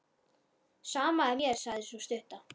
Sama er mér, sagði sú stutta.